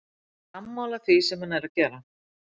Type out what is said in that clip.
Ég er sammála því sem hann er að gera.